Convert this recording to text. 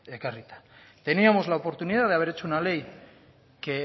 ekarrita teníamos la oportunidad de haber hecho una ley que